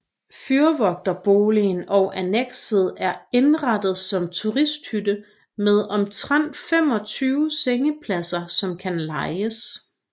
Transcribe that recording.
Fyrvogterboligen og annekset er indrettet som turisthytte med omtrent 25 sengepladser som kan lejes